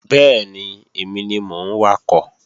Bẹ́ẹ̀ni, èmi ni mò ń wakọ̀